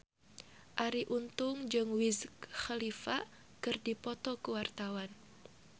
Arie Untung jeung Wiz Khalifa keur dipoto ku wartawan